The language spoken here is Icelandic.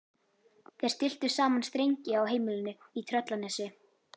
Þeir stilltu saman strengi á heimilinu í Tröllanesi.